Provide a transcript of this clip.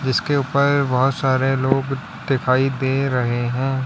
इसके ऊपर बहुत सारे लोग दिखाई दे रहे हैं।